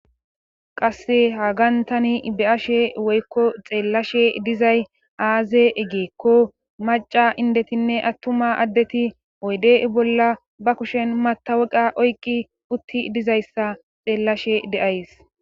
qasse ha gantani be7ashe woykko xeellashe dizay aaze eggeekko maca indetinne attuma addeti oyde bolla ba kushen mataweqa oykqi utti dizayssa xeellashe de7ays